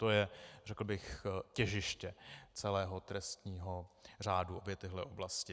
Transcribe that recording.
To je, řekl bych, těžiště celého trestního řádu, obě tyto oblasti.